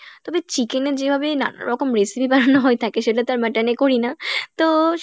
তবে chicken এর যেভাবে নানান রকম recipe বানানো হয় থাকে সেটা তো আর mutton এ করিনা তো